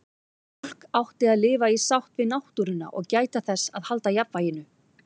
Fólk átti að lifa í sátt við náttúruna og gæta þess að halda jafnvæginu.